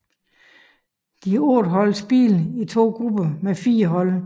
De otte hold spillede i to grupper med fire hold